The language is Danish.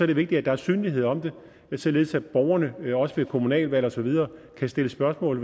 det vigtigt at der er synlighed om det således at borgerne også ved kommunalvalg og så videre kan stille spørgsmål